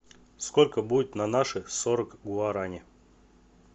сколько будет на наши сорок гуарани